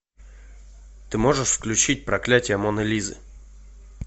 ты можешь включить проклятие моны лизы